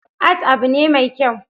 Art abu ne mai kyau